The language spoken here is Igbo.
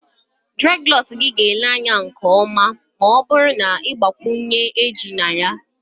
Dreadlocks gị ga-ele anya nke ọma ma ọ bụrụ na ị gbakwunye cowries na ya